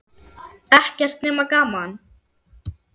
Ekkert nema gaman!